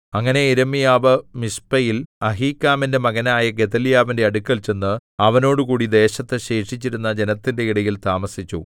അങ്ങനെ യിരെമ്യാവ് മിസ്പയിൽ അഹീക്കാമിന്റെ മകനായ ഗെദല്യാവിന്റെ അടുക്കൽ ചെന്ന് അവനോടുകൂടി ദേശത്തു ശേഷിച്ചിരുന്ന ജനത്തിന്റെ ഇടയിൽ താമസിച്ചു